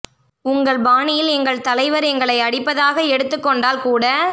உங்கள் பாணியில் எங்கள் தலைவர் எங்களை அடிப்பதாக எடுத்துக் கொண்டால் கூட